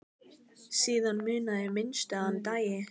Síðan munaði minnstu að hann dæi.